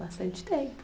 Bastante tempo.